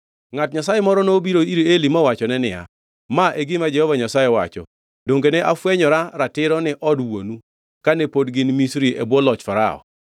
Ngʼat Nyasaye moro nobiro ir Eli mowachone niya, “Ma e gima Jehova Nyasaye wacho, ‘Donge ne afwenyora ratiro ni od wuonu kane pod gin Misri e bwo loch Farao?